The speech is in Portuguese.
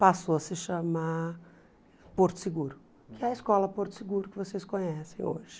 Passou a se chamar Porto Seguro, que é a escola Porto Seguro que vocês conhecem hoje.